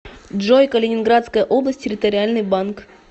джой калининградская область территориальный банк